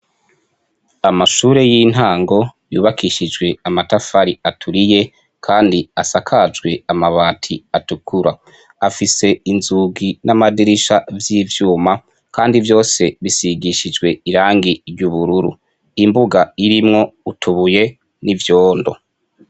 Amashure y' intango yubakishijwe amatafari aturiye kandi asakajwe amabati atukura afise inzugi n' amadirisha vy' ivyuma kandi vyose bisigishijwe irangi ry' ubururu imbuga irimwo utubuye n' ivyondo.